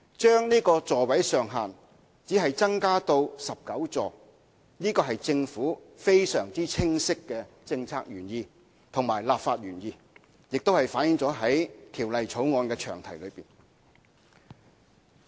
將小巴座位上限只增加至19個，是政府非常清晰的政策原意和立法原意，亦反映在《條例草案》的詳題中。